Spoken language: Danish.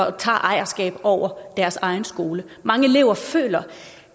og tager ejerskab over deres egen skole mange elever føler